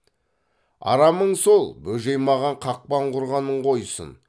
арамың сол бөжей маған қақпан құрғанын қойсын